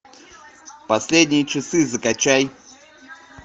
последние часы закачай